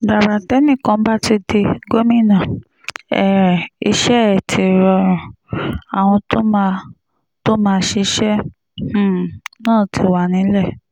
gbàrà tẹ́nìkan bá ti di gómìnà um iṣẹ́ ẹ̀ ti rọrùn àwọn tó máa tó máa ṣiṣẹ́ um náà ti wà nílẹ̀